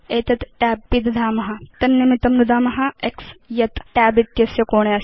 एतत् tab पिदधाम तदर्थं नुदाम x यत् tab इत्यस्य कोणे अस्ति